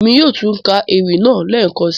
Èmi yóò tun ka ewi naa lẹẹkansi.